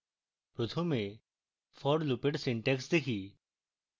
প্রথমে for loop এর syntax দেখি